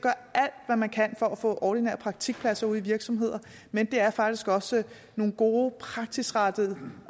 at man kan for at få ordinære praktikpladser ude i virksomheder men det er faktisk også nogle gode praksisrettede